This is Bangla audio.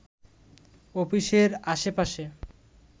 অফিসের আশেপাশে